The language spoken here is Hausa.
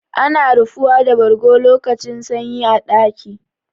Ana rufuwa da bargo lokacin sanyi a ɗaki.